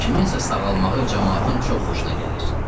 Kiminsə sağalmağı camaatın çox xoşuna gəlir.